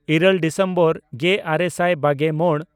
ᱤᱨᱟᱹᱞ ᱰᱤᱥᱮᱢᱵᱚᱨ ᱜᱮᱼᱟᱨᱮ ᱥᱟᱭ ᱵᱟᱜᱮᱼᱢᱚᱬ